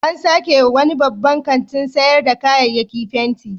An sake wa wani babban kantin sayar da kayayyaki fenti.